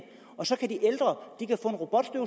og så kan de ældre